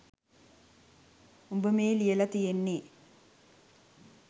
උඹ මේ ලියල තියෙන්නෙ